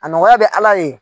A nɔgɔya bɛ Ala ye.